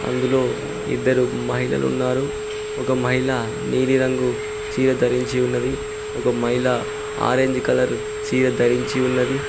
అందులో ఇద్దరు మహిళలున్నారు ఒక మహిళ నీలిరంగు చీర ధరించి ఉన్నది ఒక మహిళ ఆరెంజ్ కలర్ చీర ధరించి ఉన్నది.